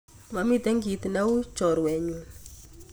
Momiten kit neui chorwenyun